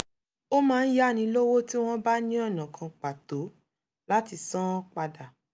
ó máa ń yáni lówó tí wọ́n bá ní ọ̀nà kan pàtó láti san án padà